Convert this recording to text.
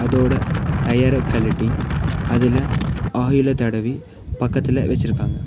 இதோட டயர கழட்டி அதுல ஆயில தடவி பக்கத்துல வெச்சிருக்காங்க.